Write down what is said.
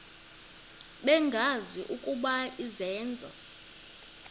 bengazi ukuba izenzo